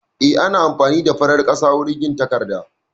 Eh, ana amfani da farar ƙasa wurin yin takarda